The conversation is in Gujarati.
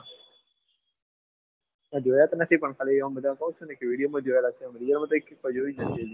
મેં જોયા તો નથી પણ બધા ખાલી કહે છે video માં જોયેલા છે આમ real મા કઈ કિસ્સા જોયુજ નથી.